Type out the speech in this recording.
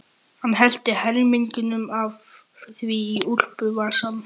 Hann hellti helmingnum af því í úlpuvasann.